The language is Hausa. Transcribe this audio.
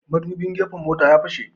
Madubin gefen motan ya fashe